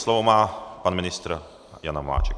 Slovo má pan ministr Jan Hamáček.